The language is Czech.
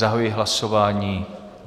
Zahajuji hlasování.